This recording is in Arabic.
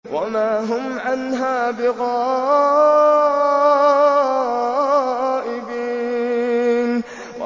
وَمَا هُمْ عَنْهَا بِغَائِبِينَ